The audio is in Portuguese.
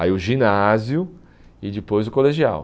Aí o ginásio e depois o colegial.